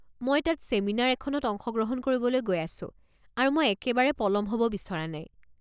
মই তাত ছেমিনাৰ এখনত অংশগ্ৰহণ কৰিবলৈ গৈ আছো আৰু মই একেবাৰে পলম হ'ব বিচৰা নাই।